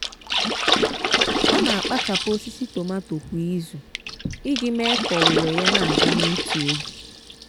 ọ na-akpachapụ osisi tomato kwa izu iji mee ka owuwe ya na-aga n'otu oge.